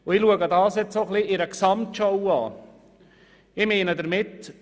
Nun betrachte ich das auch noch in einer Gesamtschau.